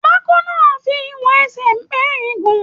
Pákó náà fí ìwọ̀n ẹsẹ mẹrin gún.